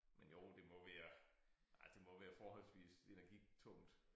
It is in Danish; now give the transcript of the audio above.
Men jo det må være ej det må være forholdsvis energitungt